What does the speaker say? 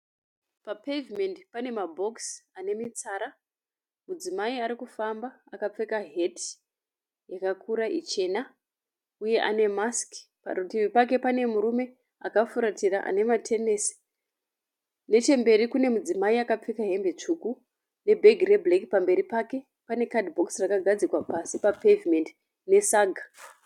Pa pevhimeti pane mabhokisi ane mitsara. Mudzimai arikufamba akapfeka heti yakakura ichena uye ane masiki. Parutivi pake pane murume akafuratira ane matenesi. Nechemberi kune mudzimai akapfeka hembe tsvuku ne bhegi re bhureki. Pamberi pake. Pane kadhibhokisi rakagadzikwa pasi pa pevhimeti ne saga.